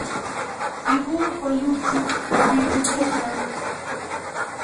ibuu bolutik robinik chechamg